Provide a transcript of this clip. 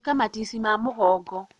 ĩka matici ma mũgongo